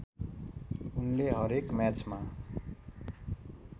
उनले हरेक म्याचमा